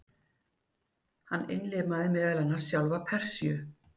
Hann innlimaði meðal annars sjálfa Persíu.